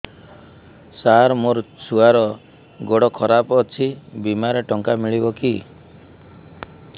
ସାର ମୋର ଛୁଆର ଗୋଡ ଖରାପ ଅଛି ବିମାରେ ଟଙ୍କା ମିଳିବ କି